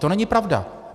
To není pravda.